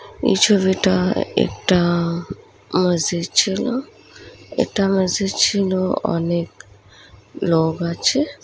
এই ছবিটা একটা মসজিদ ছিল এটা মসজিদ ছিল অনেক লোক আছে।